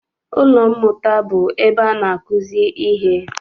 Ụlọ mmụta bụ ebe ana akuzi ihe.